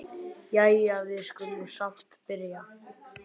Jæja, við skulum samt byrja.